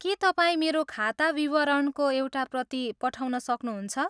के तपाईँ मेरो खाता विवरणको एउटा प्रति पठाउन सक्नुहुन्छ?